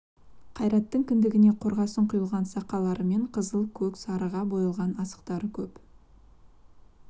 қайраттың кіндігіне қорғасын құйған сақалары мен қызыл көк сарыға боялған асықтары көп